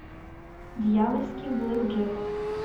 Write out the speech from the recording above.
дьявольский блэкджек